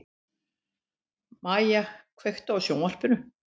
Mæja, kveiktu á sjónvarpinu.